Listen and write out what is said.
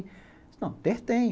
Não, ter tem.